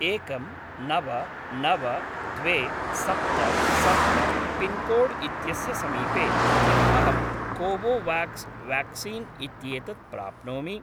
एकं नव नव द्वे सप्त सप्त पिन्कोड् इत्यस्य समीपे किम् अहं कोवोवाक्स् व्याक्सीन् इत्येतत् प्राप्नोमि?